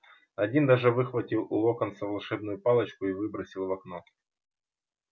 один даже выхватил у локонса волшебную палочку и выбросил в окно